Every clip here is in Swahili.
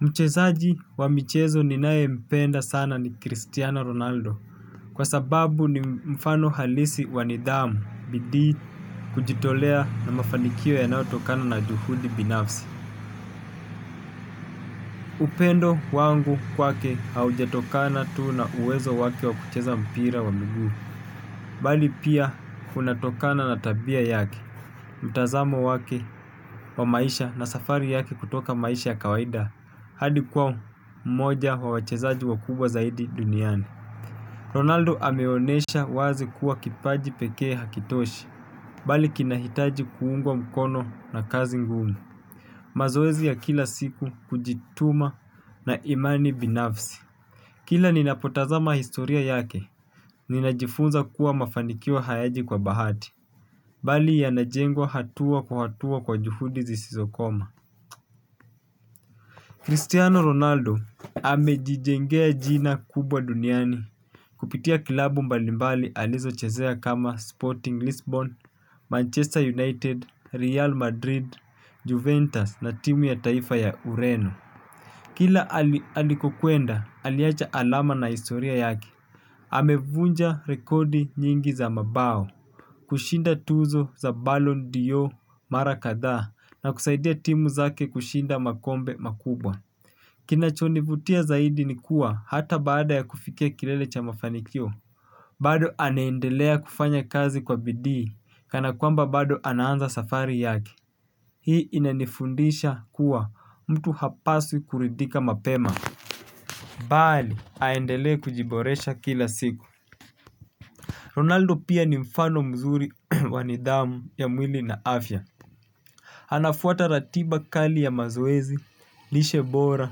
Mchezaji wa michezo ninaympenda sana ni Cristiano Ronaldo kwa sababu ni mfano halisi wa nidhamu bidii kujitolea na mafanikio yanayotokana na juhudi binafsi. Upendo wangu kwake haujatokana tuu na uwezo wake wa kucheza mpira wa migu. Bali pia unatokana na tabia yake. Mtazamo wake wa maisha na safari yake kutoka maisha ya kawaida hadi kuwa mmoja wa wachezaji wakubwa zaidi duniani Ronaldo ameonesha wazi kuwa kipaji pekee hakitoshi bali kinahitaji kuungwa mkono na kazi ngumu. Mazoezi ya kila siku, kujituma na imani binafsi. Kila ninapotazama historia yake, ninajifunza kuwa mafanikio hayaji kwa bahati. Bali yanajengwa hatua kwa hatua kwa juhudi zisizokoma. Cristiano Ronaldo amejijengea jina kubwa duniani. Kupitia kilabu mbalimbali alizo chezea kama Sporting Lisbon, Manchester United, Real Madrid, Juventus na timu ya taifa ya Ureno. Kila alikokwenda, aliacha alama na historia yake. Aamevunja rekodi nyingi za mabao kushinda tuzo za bal on dor mara kadhaa na kusaidia timu zake kushinda makombe makubwa. Kinachonivutia zaidi ni kuwa hata baada ya kufikia kilele cha mafanikio bado anaendelea kufanya kazi kwa bidii kana kwamba bado anaanza safari yake. Hii inanifundisha kuwa mtu hapaswi kuridhika mapema bali aendelee kujiboresha kila siku Ronaldo pia ni mfano mzuri wa nidhamu ya mwili na afya. Anafuata ratiba kali ya mazoezi, lishe bora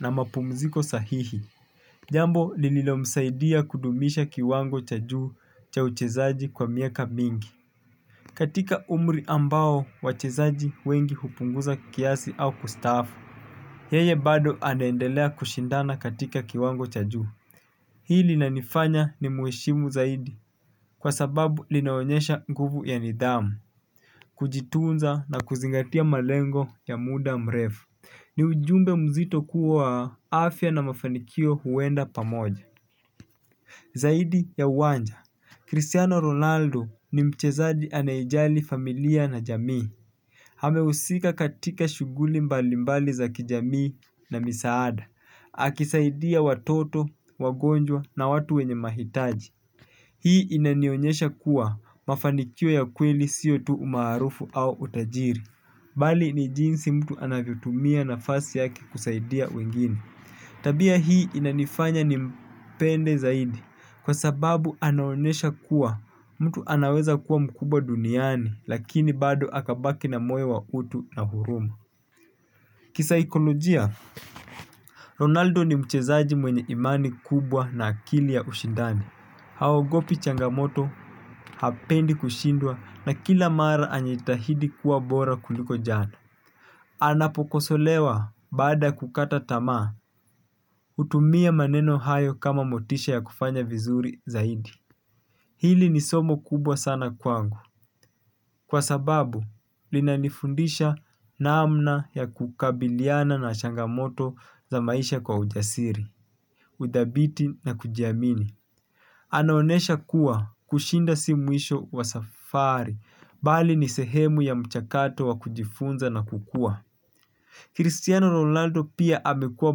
na mapumziko sahihi. Jambo lililomsaidia kudumisha kiwango cha juu cha uchezaji kwa miaka mingi. Katika umri ambao wachezaji wengi hupunguza kiasi au kustaafu. Yeye bado anaendelea kushindana katika kiwango cha juu. Hii linanifanya nimheshimu zaidi kwa sababu linaonyesha nguvu ya nidhamu kujitunza na kuzingatia malengo ya muda mrefu. Ni ujumbe mzito kuwa afya na mafanikio huenda pamoja. Zaidi ya uwanja, Cristiano Ronaldo ni mchezaji anayejali familia na jamii. Amehusika katika shuguli mbalimbali za kijamii na misaada akisaidia watoto, wagonjwa na watu wenye mahitaji. Hii inanionyesha kuwa mafanikio ya kweli sio tu umaarufu au utajiri. Bali ni jinsi mtu anavyotumia nafasi yake kusaidia wengine. Tabia hii inanifanya nimpende zaidi kwa sababu anaonesha kuwa mtu anaweza kuwa mkubwa duniani lakini bado akabaki na moyo wa utu na hurumu. Kisaikolojia Ronaldo ni mchezaji mwenye imani kubwa na akili ya ushindani. Haogopi changamoto hapendi kushindwa na kila mara anajitahidi kuwa bora kuliko jana. Anapokosolewa baada ya kukata tamaa. Hutumia maneno hayo kama motisha ya kufanya vizuri zaidi. Hili ni somo kubwa sana kwangu kwa sababu linanifundisha namna ya kukabiliana na changamoto za maisha kwa ujasiri. Uthabiti na kujiamini. Anaonesha kuwa kushinda si mwisho wa safari. Bali ni sehemu ya mchakato wa kujifunza na kukua Kristiano Rolando pia amekuwa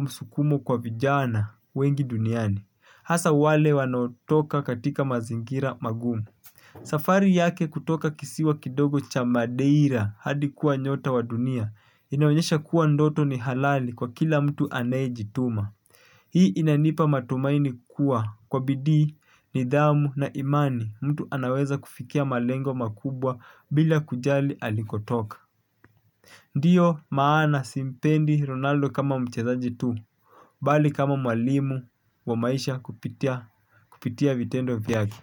msukumo kwa vijana wengi duniani. Hasa wale wanaotoka katika mazingira magumu. Safari yake kutoka kisiwa kidogo cha madeira hadi kuwa nyota wa dunia. Inaonesha kuwa ndoto ni halali kwa kila mtu anayejituma. Hii inanipa matumaini kukua kwa bidii, nidhamu na imani mtu anaweza kufikia malengo makubwa bila kujali alikotoka. Ndiyo maana simpendi Ronaldo kama mchazaji tu, bali kama mwalimu wa maisha kupitia vitendo vyake.